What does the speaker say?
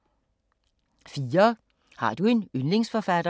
4) Har du en yndlingsforfatter?